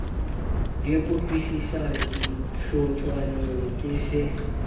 le kutlwisisano dihlotshwaneng ke se